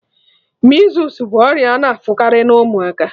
Measles bụ ọrịa a na-afụkarị na ụmụaka